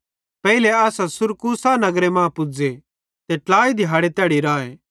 पेइले असां सुरकूसा नगरे मां पुज़े ते ट्लाई दिहाड़े तैड़ी राए